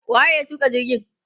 wa ye ya tuka jirgin?